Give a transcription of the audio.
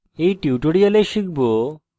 in tutorial শিখব